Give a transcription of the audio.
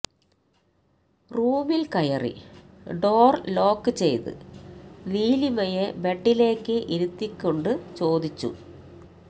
റൂമിൽ കയറി door lock ചെയ്ത് നീലിമയെ ബെഡിലേക്ക് ഇരുത്തി കൊണ്ട് ചോദിച്ചു